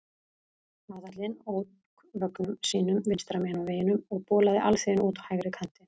Aðallinn ók vögnum sínum vinstra megin á vegunum og bolaði alþýðunni út á hægri kantinn.